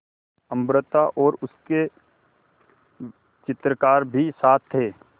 अमृता और उसके चित्रकार भी साथ थे